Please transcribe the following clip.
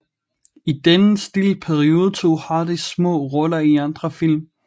I denne stille periode tog Hardy små roller i andre film